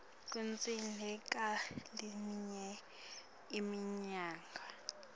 kudzingeka leminye imininingwane